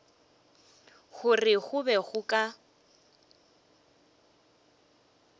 gore go be go ka